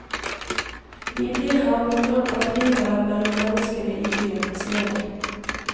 Vi blir her på grunn av klimaet mellom menneskene i byen, sier de.